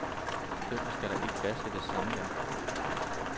Derfor skal der ikke fastsættes samvær.